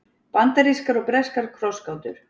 bandarískar og breskar krossgátur